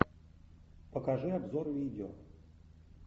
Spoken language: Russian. покажи обзор видео